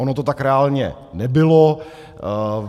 Ono to tak reálně nebylo.